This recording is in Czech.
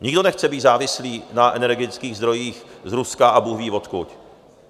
Nikdo nechce být závislý na energetických zdrojích z Ruska a bůhví odkud.